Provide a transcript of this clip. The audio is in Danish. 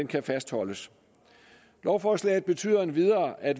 kan fastholdes lovforslaget betyder endvidere at